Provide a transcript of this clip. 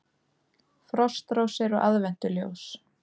Frostrósir og aðventuljós